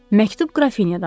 Məktub Qrafinyadandır.